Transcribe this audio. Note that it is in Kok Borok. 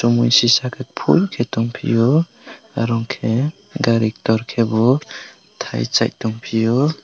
mui si saka phool ke tongpeio oro ke gari gari torkr bw thai chai tong people.